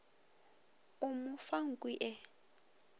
o mo fa nku e